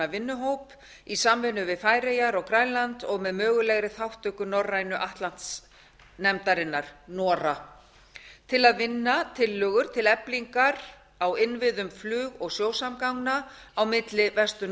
vinnuhóp í samvinnu við færeyjar og grænland og með mögulegri þátttöku norrænu atlantsnefndarinnar nora til að vinna tillögur til eflingar á innviðum flug og sjósamgangna á milli vestur